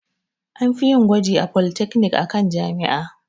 An fiyin gwaji a polytechnic akan jami'a